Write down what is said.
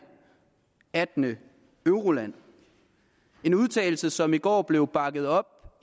attende euroland en udtalelse som i går blev bakket op